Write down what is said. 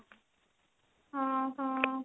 ଓଃ ହଁ